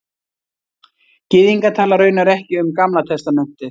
Gyðingar tala raunar ekki um Gamla testamentið